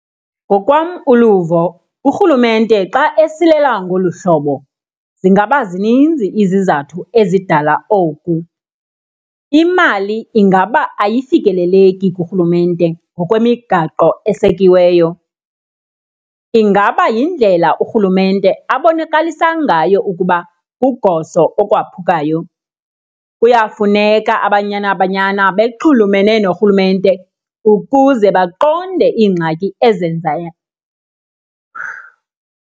Ngokwam uluvo urhulumente xa esilela ngolu hlobo zingaba zininzi izizathu ezidala oku. Imali ingaba ayifikeleleki kurhulumente ngokwemigaqo esekiweyo. Ingaba yindlela urhulumente abonakalisa ngayo ukuba kugoso okwaphukayo. Kuyafuneka aBanyana Banyana bexhulumene norhulumente ukuze baqonde iingxaki ezenzayo.